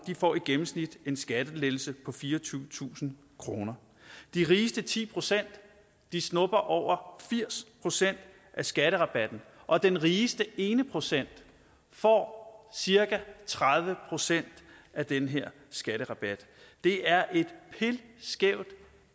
får i gennemsnit en skattelettelse på fireogtyvetusind kroner de rigeste ti procent snupper over firs procent af skatterabatten og den rigeste ene procent får cirka tredive procent af den her skatterabat det er et